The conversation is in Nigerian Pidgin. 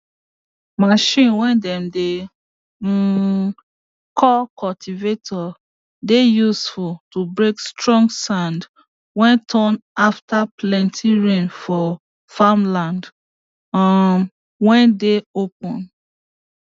machine way dem dey um call cultivator dey useful to break strong sand way turn after plenty rain for farmland um way dey open